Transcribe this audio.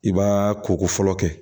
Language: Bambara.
I b'aa koko fɔlɔ kɛ